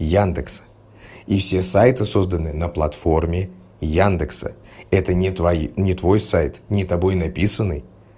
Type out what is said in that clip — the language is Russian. яндекс и все сайты созданные на платформе яндекса это не твои не твой сайт не тобой написаный